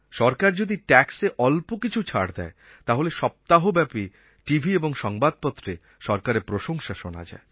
সরকার যদি ট্যাক্সএ অল্প কিছু ছাড় দেয় তাহলে সপ্তাহব্যপী টিভি এবং সংবাদপত্রে সরকারের প্রশংসা শোনা যায়